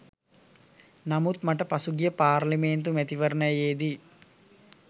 නමුත් මට පසුගිය පාර්ලිමේන්තු මැතිවරණයේදී